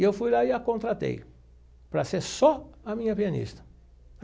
E eu fui lá e a contratei para ser só a minha pianista.